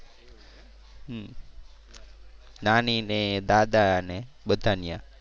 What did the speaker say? નાની ને દાદા ને બધા ત્યાં.